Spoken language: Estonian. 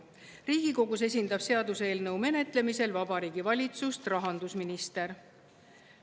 Riigikogus esindab seaduseelnõu menetlemisel Vabariigi Valitsust rahandusminister.